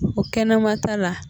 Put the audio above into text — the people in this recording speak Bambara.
O kɛnɛmata la